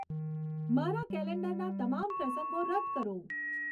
મારા કેલેન્ડરના તમામ પ્રસંગો રદ કરો